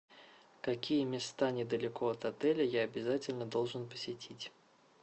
какие места недалеко от отеля я обязательно должен посетить